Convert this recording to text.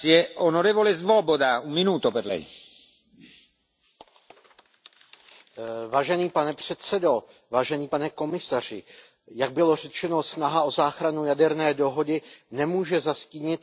Pane předsedající, jak bylo řečeno, snaha o záchranu jaderné dohody nemůže zastínit ochranu lidských práv, protože tato ochrana patří k ústavním základům Evropské unie.